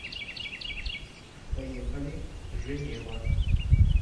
поехали женева